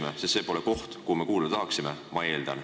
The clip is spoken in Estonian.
Ma eeldan, et see pole ju koht, kus me olla tahaksime.